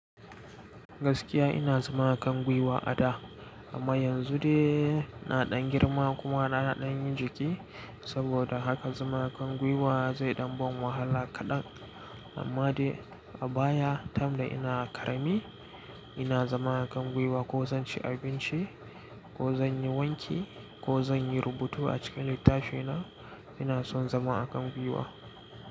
Gaskiya ina zama a kan gwiwa a da amma yanzu de naɗan girma kuma na ɗan yi jiki saboda haka zama a kan gwiwa zai ɗan ban wahala kaɗan. Amma de a baya, time da ina ƙarami ina zama a kan gwiwa ko zan ci abinci ko zan yi wanki ko zan yi rubutu a cikin littafina, ina son zama a kan gwiwa.